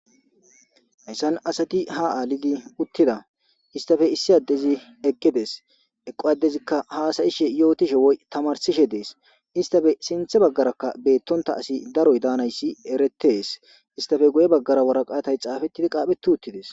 Hayssan asati haa aalidinne uttida isttape issi addezi eqqides.eqqo addezikka haasa7ishe yootishe woy tamarssishe dees.istape sinthe baggarakka eqqidi daro asi daanayssi erettees.isttape guye baggara waraqaata xaafettidi qaapheti uttides.